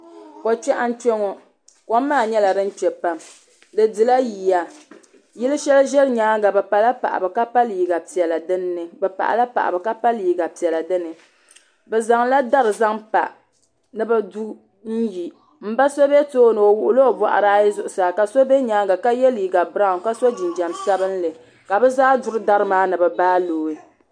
ko kpɛɣu n kpɛ ŋɔ kom maa nyɛla din kpɛ pam di dila yiyayili shɛli ʒɛ nyaanga bi pala paɣabu ka pa liga piɛla dini bi zaŋla dari zaŋ pa ni bi du n yi n ba so be too ni o wuɣila oboɣari ayi zuɣusaa ka so be too ni ka ye liga beraun ka so jinjam sabinli ka bi zaa duri dari maa ni bi bai looi.